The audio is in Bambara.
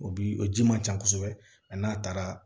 O bi o ji man ca kosɛbɛ ani n'a taara